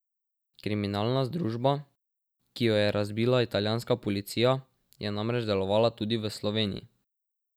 Kriminalna združba, ki jo je razbila italijanska policija, je namreč delovala tudi v Sloveniji.